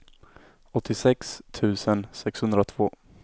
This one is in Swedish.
åttiosex tusen sexhundratvå